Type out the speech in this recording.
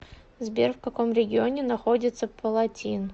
сбер в каком регионе находится палатин